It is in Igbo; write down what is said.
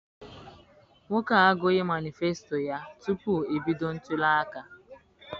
Nwoke a agughị manisfesito ya tupu ebido ntụliaka.